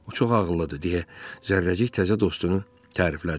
O çox ağıllıdır deyə Zərrəcik təzə dostunu təriflədi.